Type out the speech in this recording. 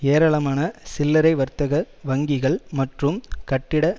ஏரளமான சில்லறை வர்த்தக வங்கிகள் மற்றும் கட்டிட